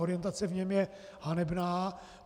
Orientace v něm je hanebná.